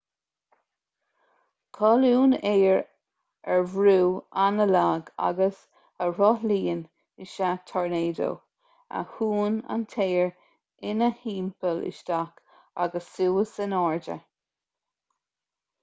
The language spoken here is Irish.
colún aeir ar bhrú an-lag agus a rothlaíonn is ea tornádó a shúnn an t-aer ina thimpeall isteach agus suas in airde